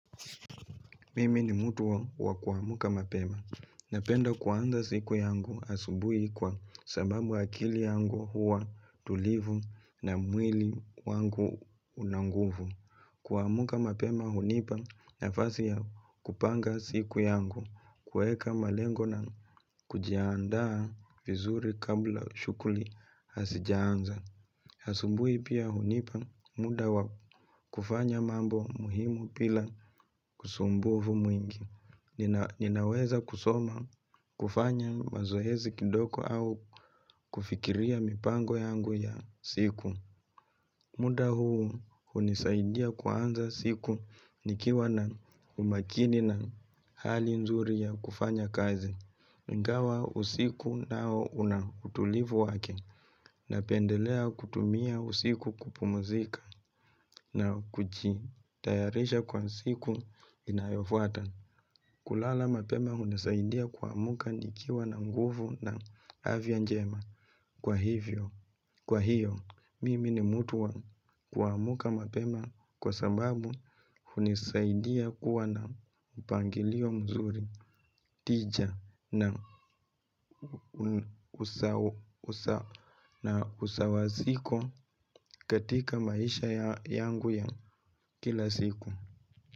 Mimi ni mutu wa wa kuamuka mapema. Napenda kuanza siku yangu asubui kwa sababu akili yangu huwa tulivu na mwili wangu unanguvu. Kuamuka mapema hunipa na fasi ya kupanga siku yangu kueka malengo na kujiaandaa vizuri kabla shukuli hasijaanza. Asumbui pia hunipa muda wa kufanya mambo muhimu pila kusumbuvu mwingi. Nina Ninaweza kusoma kufanya mazohezi kidoko au kufikiria mipango yangu ya siku. Muda huu hunisaidia kuanza siku nikiwa na umakini na hali nzuri ya kufanya kazi. Ngawa usiku nao una utulivu wake na pendelea kutumia usiku kupumuzika na kuchi tayarisha kwa siku inayofuata. Kulala mapema hunisaidia kuamuka nikiwa na nguvu na avyanjema. Kwa hivyo, kwa hiyo, mimi ni mutu wa kua muka mapema kwa sababu hunisaidia kuwa na mpangilio mzuri tija na na usawaziko katika maisha yangu ya kilasiku.